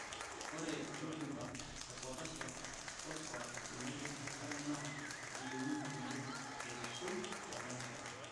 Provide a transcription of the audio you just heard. Ore rutuba e potassium, phosphorus tenebo enkare naa keyieunoi oleng' aisul tena rishata.